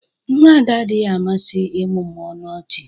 Nwa Ada adịghị amasị ịmụmụ ọnụ ọchị.